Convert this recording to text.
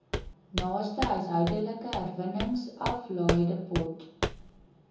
naaste huishoudelike herwinningsaflaaidepot